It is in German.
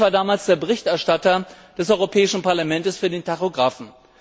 Ich war damals der Berichterstatter des Europäischen Parlaments für den Tachografen.